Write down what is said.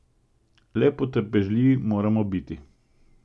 Le potrpežljivi moramo biti.